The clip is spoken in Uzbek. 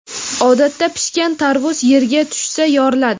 Odatda pishgan tarvuz yerga tushsa yoriladi.